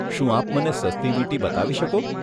શું આપ મને સસ્તી વીંટી બતાવી શકો?